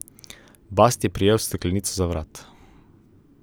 Bast je prijel steklenico za vrat.